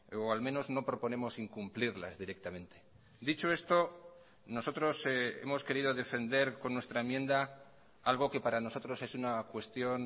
o al menos no proponemos incumplirlas directamente dicho esto nosotros hemos querido defender con nuestra enmienda algo que para nosotros es una cuestión